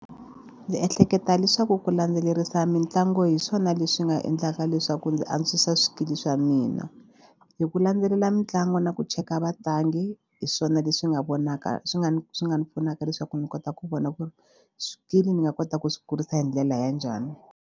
Ndzi ehleketa leswaku ku landzelerisa mitlangu hi swona leswi nga endlaka leswaku ndzi antswisa swikili swa mina. Hi ku landzelela mitlangu na ku cheka vatlangi hi swona leswi nga vonaka swi nga ni swi nga ni pfunaka leswaku ni kota ku vona ku ri swikili ni nga kota ku swi kurisa hi ndlela ya njhani.